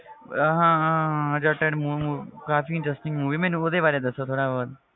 ਹਾਂ ਹਾਂ ਹਾਂ ਜੱਟ ਕਾਫ਼ੀ interesting movie ਹੈ ਮੈਨੂੰ ਉਹਦੇ ਬਾਰੇ ਦੱਸੋ ਥੋੜ੍ਹਾ ਬਹੁਤ,